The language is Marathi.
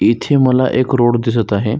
इथे मला एक रोड दिसत आहे.